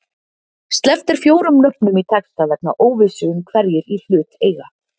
Sleppt er fjórum nöfnum í texta vegna óvissu um hverjir í hlut eiga